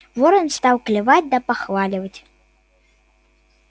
ворон стал клевать да похваливать